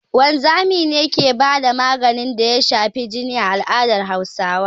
Wanzami ne ke ba da maganin da ya shafi jini a al'adar Hausawa